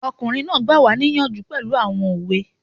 Ọkùnrin náà gbà wá níyànjú pẹ̀lú àwọn òwe